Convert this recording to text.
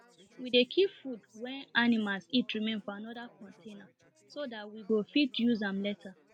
we dey keep food wen animals eat remain for another container so that we go fit use am later